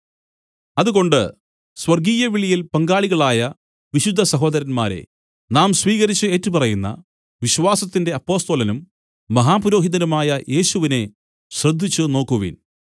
അതുകൊണ്ട് സ്വർഗ്ഗീയവിളിയിൽ പങ്കാളികളായ വിശുദ്ധ സഹോദരന്മാരേ നാം സ്വീകരിച്ച് ഏറ്റുപറയുന്ന വിശ്വാസത്തിന്റെ അപ്പൊസ്തലനും മഹാപുരോഹിതനുമായ യേശുവിനെ ശ്രദ്ധിച്ചുനോക്കുവിൻ